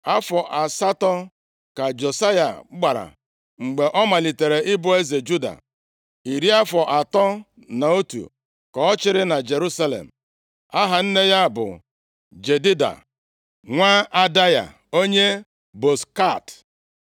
Afọ asatọ ka Josaya gbara mgbe ọ malitere ịbụ eze Juda. Iri afọ atọ na otu ka ọ chịrị na Jerusalem. Aha nne ya bụ Jedida, nwa Adaya onye Bozkat.